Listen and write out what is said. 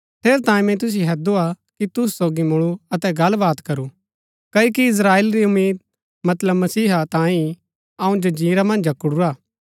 ठेरैतांये मैंई तुसिओ हैदुआ कि तुसु सोगी मुळू अतै गल्ल बात करू क्ओकि इस्त्राएल री उम्मीद मतलब मसीहा तांयें ही अऊँ जंजीरा मन्ज जकडुरा